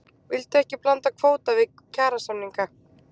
Vildu ekki blanda kvóta við kjarasamninga